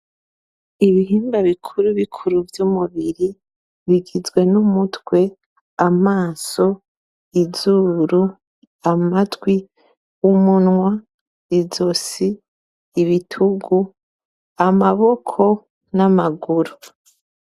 Ibihimba bikuru bikuru vy'umubiri, ugizwe n'umutwe ,amaso, izuru, amatwi, umunwa, izosi, ibitugu, amaboko, n'amaguru